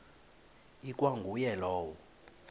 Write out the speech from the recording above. ikwa nguye lowo